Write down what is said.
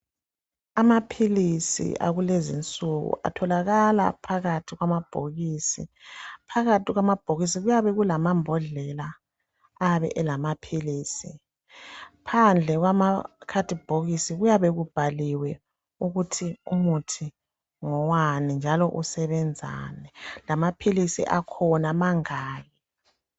Amaphilisi akulezi insuku atholakala phakathi kwamabhokisi , phakathi kwamabhokisi kuyabe kulamambhodlela ayabe elamaphilisi , phandle kwamakhadibhokisi kuyabe kubhaliwe ukuthi umuthi ngowani njalo usebenzani lamaphilisi akhona mangaki.